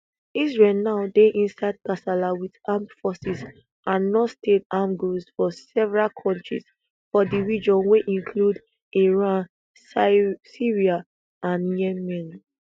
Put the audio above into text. israel now dey inside kasala wit armed forces and nonstate armed groups for several kontris for di region wey include iran syria and yemen